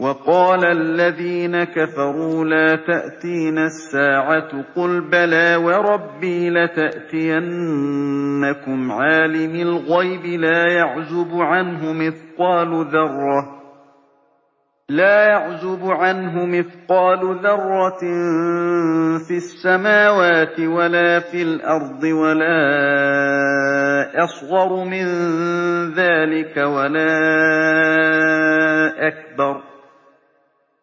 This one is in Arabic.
وَقَالَ الَّذِينَ كَفَرُوا لَا تَأْتِينَا السَّاعَةُ ۖ قُلْ بَلَىٰ وَرَبِّي لَتَأْتِيَنَّكُمْ عَالِمِ الْغَيْبِ ۖ لَا يَعْزُبُ عَنْهُ مِثْقَالُ ذَرَّةٍ فِي السَّمَاوَاتِ وَلَا فِي الْأَرْضِ وَلَا أَصْغَرُ مِن ذَٰلِكَ